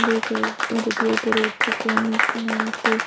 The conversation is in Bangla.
মধ্যে দিয়ে ওপরে উঠছে কেউ নীচে নামছে।